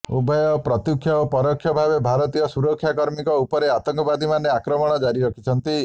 ଉଭୟ ପ୍ରତ୍ୟକ୍ଷ ଓ ପରୋକ୍ଷ ଭାବେ ଭାରତୀୟ ସୁରକ୍ଷାକର୍ମୀଙ୍କ ଉପରେ ଆତଙ୍କବାଦୀମାନେ ଆକ୍ରମଣ ଜାରି ରଖିଛନ୍ତି